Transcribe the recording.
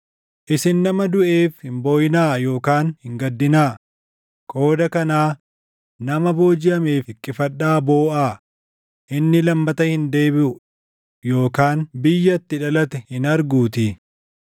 Isin nama duʼeef hin booʼinaa yookaan hin gaddinaa; qooda kanaa nama boojiʼameef hiqqifadhaa booʼaa; inni lammata hin deebiʼu yookaan biyya itti dhalate hin arguutii.